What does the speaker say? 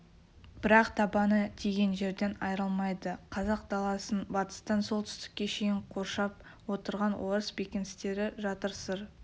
бірақ табаны тиген жерден айрылмайды қазақ даласын батыстан солтүстікке шейін қоршап отырған орыс бекіністері жатыр сыр